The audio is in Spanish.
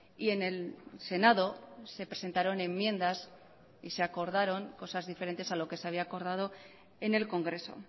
y en el senado se presentaron enmiendas y se acordaron cosas diferentes a lo que se había acordado en el congreso